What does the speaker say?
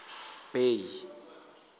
bay